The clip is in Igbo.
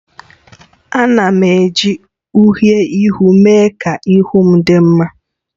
Ana m eji uhiè ihu mee ka ihu m dị mma